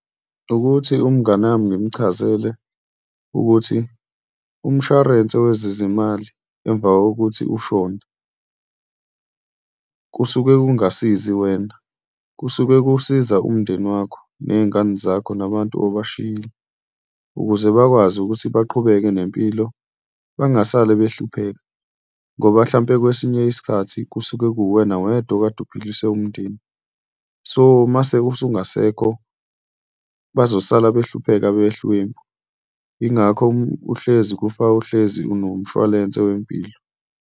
Wukuthi umngani wami ngimchazele ukuthi umshwarense wezezimali emva kokuthi ushone kusuke kungasizi wena, kusuke kusiza umndeni wakho ney'ngane zakho nabantu obashiyile. Ukuze bakwazi ukuthi baqhubeke nempilo bengasale behlupheka ngoba hlampe, kwesinye isikhathi kusuke kuwuwena wedwa okade uphilisa umndeni. So, uma usungasekho bazosala behlupheka behlulwempu. Yingakho uhlezi uhlezi unomshwalense wempilo.